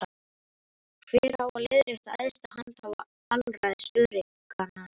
Hver á að leiðrétta æðsta handhafa alræðis öreiganna?